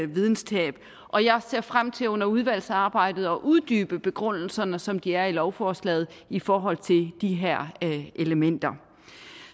videnstab og jeg ser frem til under udvalgsarbejdet at uddybe begrundelserne som de er i lovforslaget i forhold til de her elementer